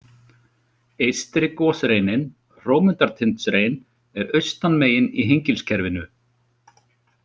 Eystri gosreinin, Hrómundartindsrein, er austan megin í Hengilskerfinu.